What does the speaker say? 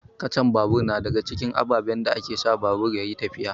Kacan babur na daga cikin ababen da ke sa babur ya yi tafiya.